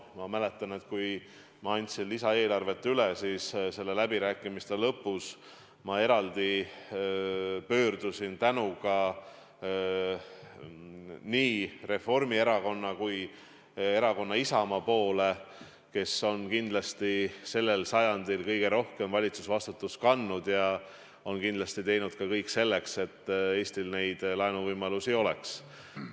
Ma mäletan, et kui ma andsin lisaeelarvet üle, siis läbirääkimiste lõpus ma eraldi pöördusin tänuga nii Reformierakonna kui ka Isamaa poole, kes on sellel sajandil kõige rohkem valitsusvastutust kandnud ja teinud kõik selleks, et Eestil neid laenuvõimalusi oleks.